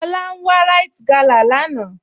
Lọlá n wà Ríte gálà láńà